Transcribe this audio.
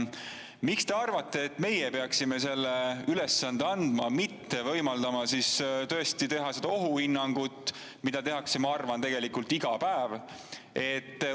Miks te arvate, et meie peaksime selle ülesande andma, mitte võimaldama teha seda ohuhinnangut, mida tõesti tehakse, ma arvan, tegelikult iga päev?